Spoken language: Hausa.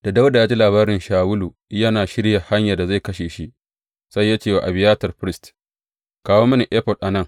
Da Dawuda ya ji labari Shawulu yana shirya hanyar da zai kashe shi, sai ya ce wa Abiyatar firist, Kawo mini efod a nan.